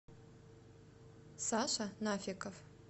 саша нафиков